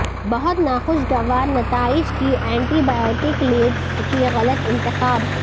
بہت ناخوشگوار نتائج کی اینٹی بائیوٹک لیڈز کی غلط انتخاب